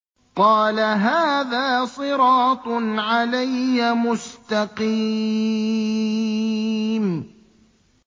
قَالَ هَٰذَا صِرَاطٌ عَلَيَّ مُسْتَقِيمٌ